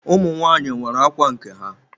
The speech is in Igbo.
Ụmụ nwanyị nwere ákwà nke ha.